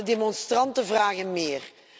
Maar de demonstranten vragen meer.